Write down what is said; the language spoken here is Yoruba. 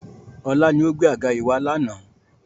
Ọlá ni ó gbé àga yìí wá lànà